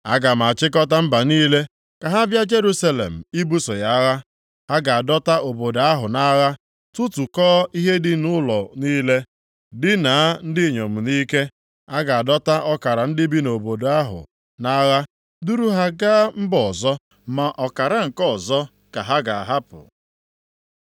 Aga m achịkọta mba niile ka ha bịa Jerusalem ibuso ya agha. Ha ga-adọta obodo ahụ nʼagha, tụtụkọọ ihe dị nʼụlọ niile, dinaa ndị inyom nʼike. A ga-adọta ọkara ndị bi nʼobodo ahụ nʼagha, duru ha gaa mba ọzọ. Ma ọkara nke ọzọ ka ha ga-ahapụ.